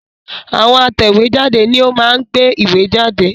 Àwọn atẹ̀wé jáde ni ó máa ń gbé ìwé jáde